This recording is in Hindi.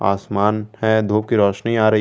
आसमान है धूप की रोशनी आ रही है।